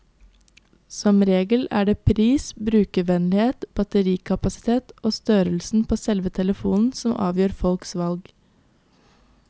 Som regel er det pris, brukervennlighet, batterikapasitet og størrelsen på selve telefonen som avgjør folks valg.